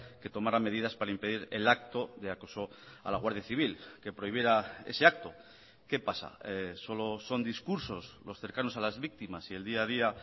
que tomará medidas para impedir el acto de acoso a la guardia civil que prohibiera ese acto qué pasa solo son discursos los cercanos a las víctimas y el día a día